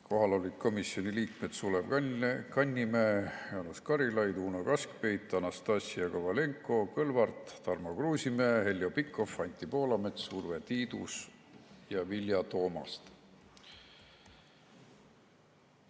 Kohal olid komisjoni liikmed Sulev Kannimäe, Jaanus Karilaid, Uno Kaskpeit, Anastassia Kovalenko-Kõlvart, Tarmo Kruusimäe, Heljo Pikhof, Anti Poolamets, Urve Tiidus ja Vilja Toomast.